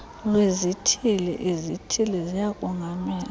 lwezithili izithili ziyakongamela